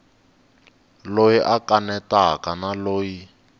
loyi a kanetaka na loyi